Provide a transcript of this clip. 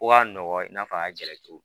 Ko ka nɔgɔ i n'a fɔ a ka gɛlɛn cogo min